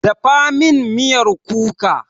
Dafa min miyar kuka!